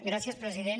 gràcies president